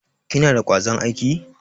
Kina da kwazon aiki?